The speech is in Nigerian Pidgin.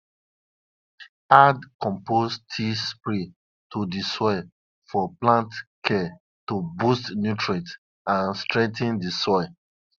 base on sey on sey wetin folklore talk de tortoise shell wey crack come from falling after e don lie to de sky